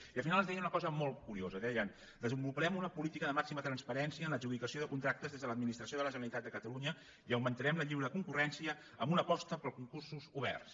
i al final ens deien una cosa molt curiosa deien de·senvoluparem una política de màxima transparència en l’adjudicació de contractes des de l’administració de la generalitat de catalunya i augmentarem la lliure concurrència amb una aposta per concursos oberts